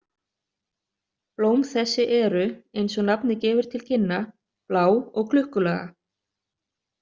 Blóm þessi eru, eins og nafnið gefur til kynna, blá og klukkulaga.